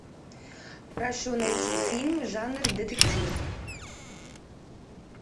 прошу найти фильм жанр детектив